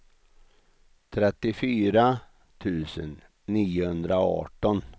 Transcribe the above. trettiofyra tusen niohundraarton